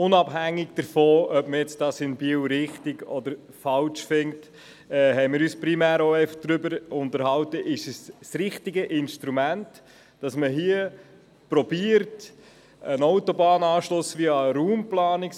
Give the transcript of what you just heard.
Unabhängig davon, ob man das jetzt in Biel richtig oder falsch findet, haben wir uns primär darüber unterhalten, ob es sich um das richtige Instrument handelt, via Raumplanungsbericht zu versuchen, einen Autobahnanschluss zu töten.